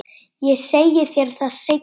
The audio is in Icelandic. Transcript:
Ég segi þér það seinna.